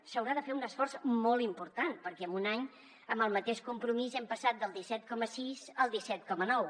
s’haurà de fer un esforç molt important perquè en un any amb el mateix compromís ja hem passat del disset coma sis al disset coma nou